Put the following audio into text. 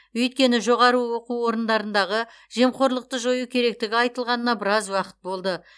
өйткені жоғары оқу орындарындағы жемқорлықты жою керектігі айтылғанына біраз уақыт болды